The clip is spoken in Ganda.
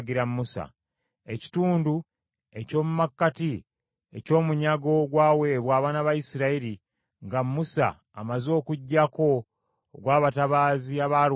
Ekitundu eky’omu makkati eky’omunyago ogwaweebwa abaana ba Isirayiri nga Musa amaze okuggyako ogw’abatabaazi abaalwana mu lutalo,